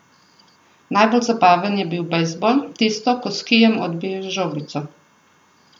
Najbolj zabaven je bil bejzbol, tisto, ko s kijem odbiješ žogico.